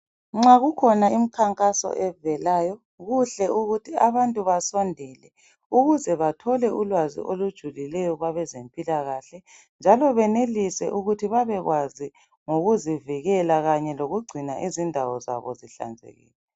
Nxa kukhona imikhankaso evelayo kuhle ukuthi abantu basondele ukuze bathole ulwazi olujulileyo kwabezempilakahle njalo benelise ukuthi babekwazi ngokuzivikela kanye lokugcina izindawo zabo zihlanzekile.